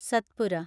Satpura